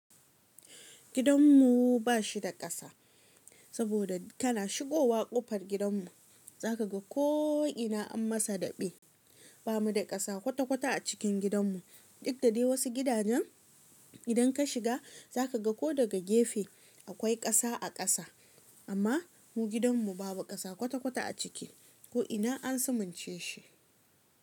Gidan mu ba shi da kasa, saboda kana shigowa kofar gidan mu, za ka ga ko'ina an masa daɓe. Ba mu da kasa kwata-kwata a cikin gidan mu. Duk da dai wasu gidajen idan ka shiga za ka ga ko daga gefe akwai kasa a kasa, amma mu gidan mu babu kasa kwata-kwata a ciki, ko'ina an sumance shi.